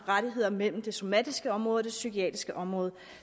rettigheder mellem det somatiske område og det psykiatriske område